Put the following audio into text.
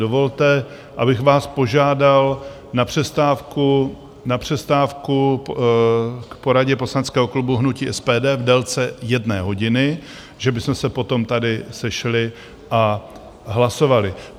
Dovolte, abych vás požádal o přestávku k poradě poslaneckého klubu hnutí SPD v délce jedné hodiny, že bychom se potom tady sešli a hlasovali.